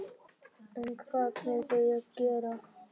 En hvað myndi ég gera?